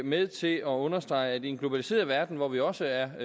med til at understrege at i en globaliseret verden hvor vi også er